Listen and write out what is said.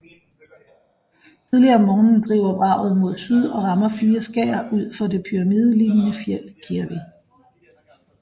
Tidlig om morgenen driver vraget mod syd og rammer fire skær ud for det pyramidelignende fjeld Kirvi